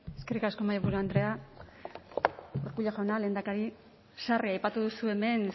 eskerrik asko mahaiburu andrea urkullu jauna lehendakari sarri aipatu duzu hemen